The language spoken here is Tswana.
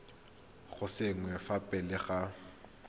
go saenwa fa pele ga